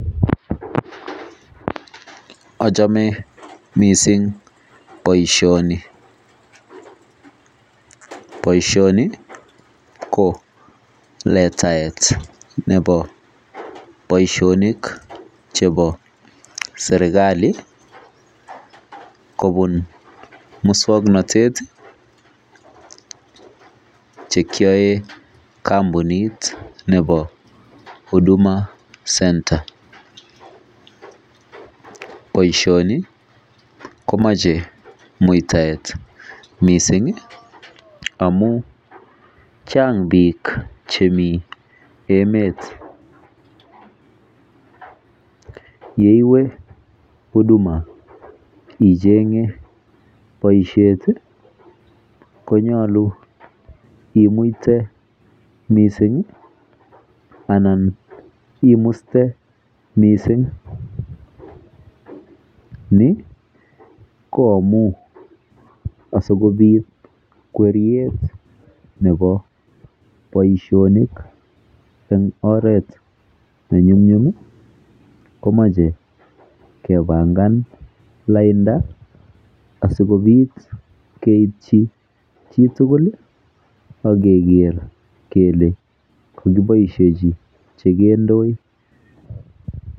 Achome mising baishoni baishoni konletaet ab Baishonik chebo serikali kobun muswaknatet cheyoen kambunit Nebo huduma center baishoni komache mutaet mising Chang bik chemi emet yeiwe huduma ichenge baishet konyalu imute mising anan imuste mising Ni koamun asikobit kweret Nebo Baishonik en oret anan imuste mising Ni koamun asikobit kweret Nebo Baishonik en oret nenyumnyum komache kebangan lainda sikobit keibchi chitugul ageger kele kakinaisechi vhekindoi